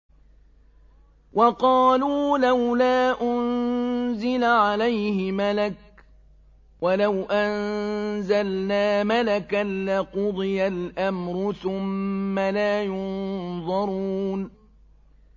وَقَالُوا لَوْلَا أُنزِلَ عَلَيْهِ مَلَكٌ ۖ وَلَوْ أَنزَلْنَا مَلَكًا لَّقُضِيَ الْأَمْرُ ثُمَّ لَا يُنظَرُونَ